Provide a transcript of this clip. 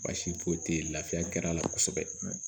Baasi foyi tɛ ye lafiya kɛr'a la kosɛbɛ